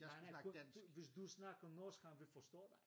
Nej nej kun du hvis du snakker norsk han vil forstå dig